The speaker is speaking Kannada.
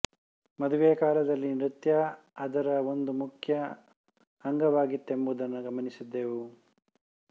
ಮದುವೆಯ ಕಾಲದಲ್ಲಿ ನೃತ್ಯ ಅದರ ಒಂದು ಮುಖ್ಯ ಅಂಗವಾಗಿತ್ತೆಂಬುದನ್ನು ಗಮನಿಸಿದ್ದೇವೆ